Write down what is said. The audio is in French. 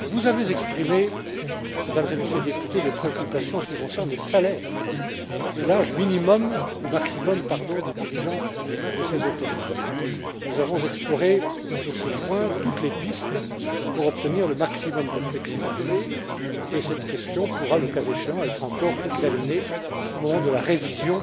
Vous avez exprimé, Mesdames et Messieurs les députés, des préoccupations en ce qui concerne les salaires et l'âge maximum des dirigeants de ces autorités. Nous avons exploré, sur ces points, toutes les pistes pour obtenir le maximum de flexibilité et cette question pourra, le cas échéant, être encore examinée au moment de la révision